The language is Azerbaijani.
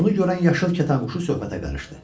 Bunu görən yaşıl kətanquşu söhbətə qarışdı.